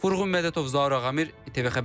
Vurğun Mədətov, Zaur Ağamirov, ATV Xəbər.